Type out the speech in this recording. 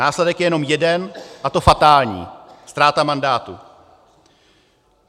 Následek je jenom jeden, a to fatální - ztráta mandátu.